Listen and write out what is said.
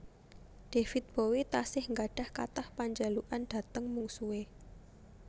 David Bowie tasih nggadhah kathah panjalukan dhateng mungsuhe